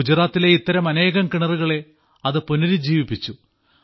ഗുജറാത്തിലെ ഇത്തരം അനേകം കിണറുകളെ അത് പുനരുജ്ജീവിപ്പിച്ചു